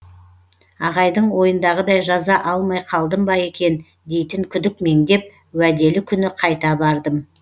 ағайдың ойындағыдай жаза алмай қалдым ба екен дейтін күдік меңдеп уәделі күні қайта бардым